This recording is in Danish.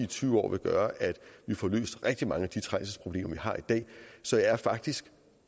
tyve år vil gøre at vi får løst rigtig mange af de trængselsproblemer vi har i dag så jeg er faktisk